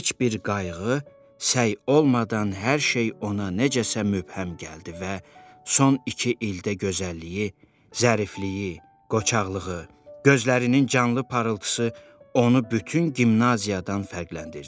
Heç bir qayğı, səy olmadan hər şey ona nədənsə mübhəm gəldi və son iki ildə gözəlliyi, zərifliyi, qoçaqlığı, gözlərinin canlı parıltısı onu bütün gimnaziyadan fərqləndirdi.